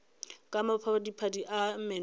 ka maphadiphadi a meno a